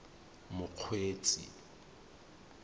mokgweetsi